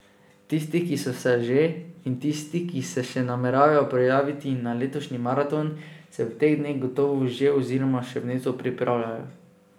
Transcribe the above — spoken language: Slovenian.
Tisti, ki so se že, in tisti, ki se še nameravajo prijaviti na letošnji maraton, se v teh dneh gotovo že oziroma še vneto pripravljajo.